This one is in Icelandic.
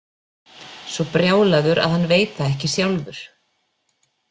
Svo brjálaður að hann veit það ekki sjálfur.